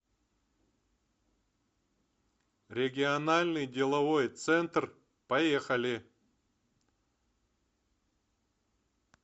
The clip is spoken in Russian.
региональный деловой центр поехали